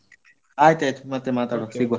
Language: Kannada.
ಆಯ್ತ್ ಆಯ್ತ್ ಮತ್ತೆ ಮಾತಾಡುವ ಸಿಗುವ.